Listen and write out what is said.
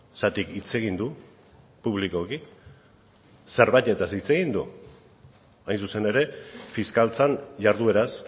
zergatik hitz egin du publikoki zerbaitetaz hitz egin du hain zuzen ere fiskaltzan jardueraz